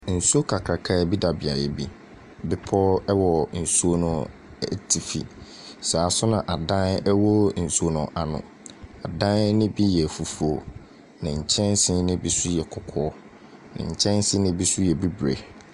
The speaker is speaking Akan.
Nsu kakraka bi da beaeɛ bi. Bepɔw ɛwɔ nsuo no atifi. Saa nso na adan ɛwɔ nsuo no ano. Adan no bi yɛ fufuo. Na nkyɛnsee no bi yɛ kɔkɔɔ. Nkyɛnsee no bi nso yɛ bibire.